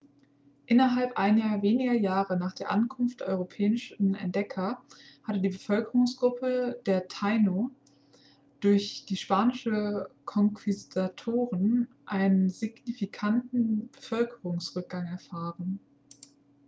innerhalb einiger weniger jahre nach der ankunft der europäischen entdecker hatte die bevölkerungsgruppe der taino durch die spanischen konquistadoren einen signifikanten bevölkerungsrückgang erfahren